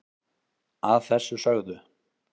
að þessu sögðu